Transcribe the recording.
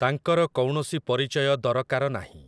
ତାଙ୍କର କୌଣସି ପରିଚୟ ଦରକାର ନାହିଁ ।